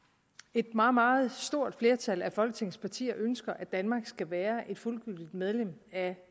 et meget meget stort flertal af folketingets partier ønsker at danmark skal være et fuldgyldigt medlem af